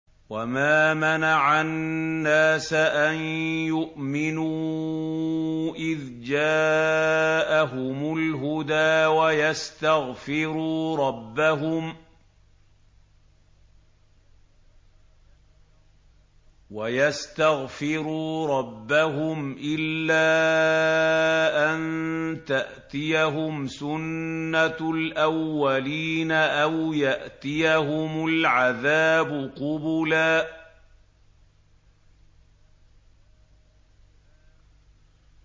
وَمَا مَنَعَ النَّاسَ أَن يُؤْمِنُوا إِذْ جَاءَهُمُ الْهُدَىٰ وَيَسْتَغْفِرُوا رَبَّهُمْ إِلَّا أَن تَأْتِيَهُمْ سُنَّةُ الْأَوَّلِينَ أَوْ يَأْتِيَهُمُ الْعَذَابُ قُبُلًا